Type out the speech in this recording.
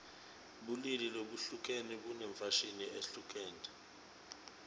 bulili labuhlukene bunemfashini lehlukene